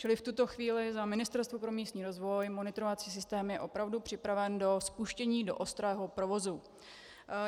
Čili v tuto chvíli za Ministerstvo pro místní rozvoj monitorovací systém je opravdu připraven na spuštění do ostrého provozu.